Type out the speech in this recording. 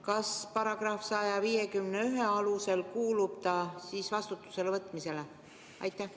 Kas ta tuleks § 151 alusel vastutusele võtta?